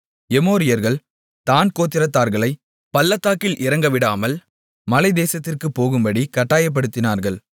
எமோரியர்கள் தாண் கோத்திரத்தார்களைப் பள்ளத்தாக்கில் இறங்கவிடாமல் மலைத்தேசத்திற்குப் போகும்படிக் கட்டாயப்படுத்தினார்கள்